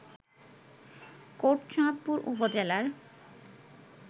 কোটচাঁদপুর উপজেলার